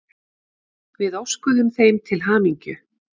Við óskuðum þeim til hamingju.